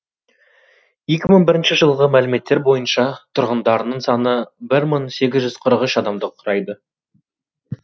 екі мың бірінші жылғы мәліметтер бойынша тұрғындарының саны бір мың сегіз жүз қырық үш адамды құрайды